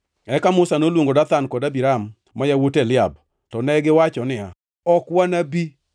Eka Musa noluongo Dathan kod Abiram, ma yawuot Eliab. To negiwacho niya, “Ok wanabi!